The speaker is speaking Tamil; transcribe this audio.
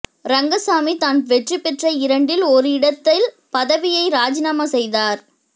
ரங்கசாமி தான் வெற்றி பெற்ற இரண்டில் ஒரு இடத்தில் பதவியை ராஜினாமா செய்தார்